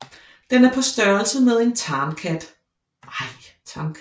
Den er på størrelse med en tamkat